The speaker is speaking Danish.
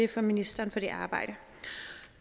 til ministeren for det arbejde